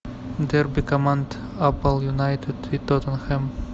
дерби команд апл юнайтед и тоттенхэм